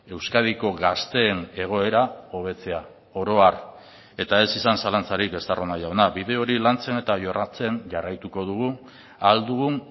euskadiko gazteen egoera hobetzea oro har eta ez izan zalantzarik estarrona jauna bide hori lantzen eta jorratzen jarraituko dugu ahal dugun